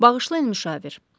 Bağışlayın müşavir.